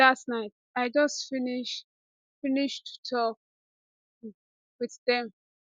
dat night i just finish finish to tok um wit dem